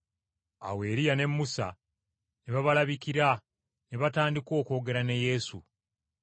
Awo Eriya ne Musa ne babalabikira ne batandika okwogera ne Yesu!